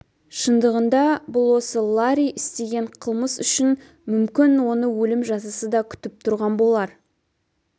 шындығында бұл осы ларри істеген қылмыс үшін мүмкін оны өлім жазасы да күтіп тұрған болар